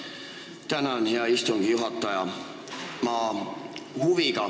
Tänan, hea istungi juhataja!